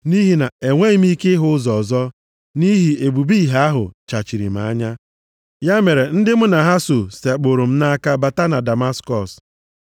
Nʼihi na-enweghị m ike ịhụ ụzọ nʼihi ebube ìhè ahụ chachiri m anya. Ya mere ndị mụ na ha so sekpụụrụ m nʼaka bata na Damaskọs.